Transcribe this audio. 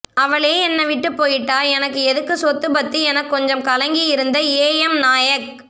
அவளே என்னய விட்டு பொய்ட்டா எனக்கு எதுக்கு சொத்து பத்து எனக் கொஞ்சம் கலங்கி இருந்த ஏ எம் நாயக்